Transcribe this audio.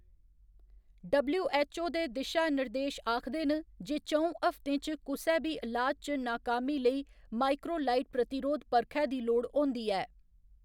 WHO. दे दिशानिर्देश आखदे न जे च'ऊं हफ्तें च कुसै बी इलाज च नाकामी लेई मैक्रोलाइड प्रतिरोध परखै दी लोड़ होंदी ऐ।